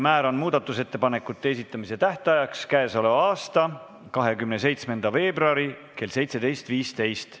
Määran muudatusettepanekute esitamise tähtajaks k.a 27. veebruari kell 17.15.